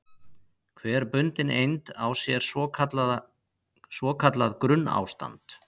Hver bundin eind á sér svo kallað grunnástand.